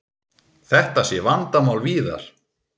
Þetta sé vandamál víðar.